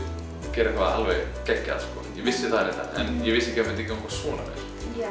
gera eitthvað alveg geggjað ég vissi það reyndar en ég vissi ekki að þetta myndi ganga svona vel